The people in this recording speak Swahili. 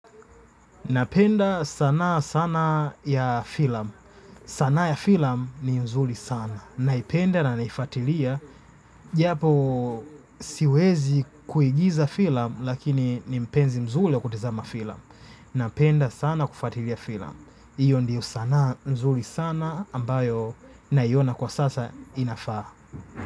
Napenda sanaa sana ya filamu. Sanaa ya filam ni mzuri sana. Naipenda na naifuatilia. Japo siwezi kuigiza filamu lakini ni mpenzi mzuri wakutizama filamu. Napenda sana kufatilia filam. Iyo ndiyo sanaa nzuri sana ambayo naiona kwa sasa inafaa.